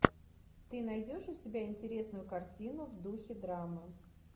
ты найдешь у себя интересную картину в духе драмы